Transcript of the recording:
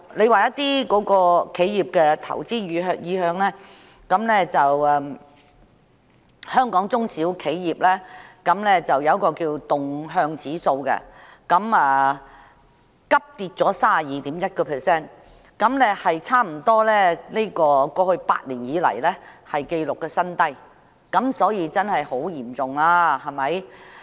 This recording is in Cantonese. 另外，有關企業的投資意向方面，香港中小型企業動向指數急跌至 32.1， 差不多是過去8年以來的紀錄新低，可見情況真的很嚴重。